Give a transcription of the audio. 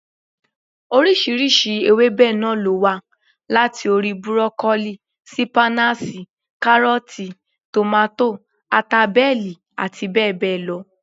Oríṣiríṣi ewébẹ̀ náà ló wà, láti orí: burokolíì, sípáínáṣì, kárọ̀tì, tòmátò, ata bẹ́ẹ̀lì àti bẹ́ẹ̀ bẹ́ẹ̀ lọ